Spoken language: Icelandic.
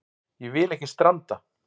Ég vil ekki stranda.